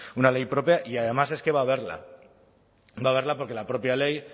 una ley propia y además es que va a haberla va a haberla porque la propia ley